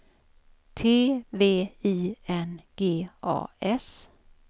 T V I N G A S